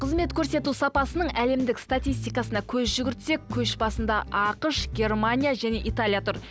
қызмет көрсету сапасының әлемдік статистикасына көз жүгіртсек көшбасында ақш германия және италия тұр